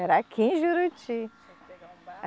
Era aqui em Juruti. Tinha que pegar um bar